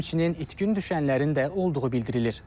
Həmçinin itkin düşənlərin də olduğu bildirilir.